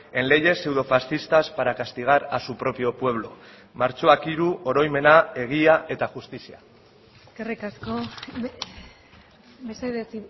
en leyes pseudofascistas para castigar a su propio pueblo martxoak hiru oroimena egia eta justizia eskerrik asko mesedez